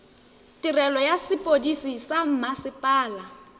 tirelo ya sepodisi sa mmasepala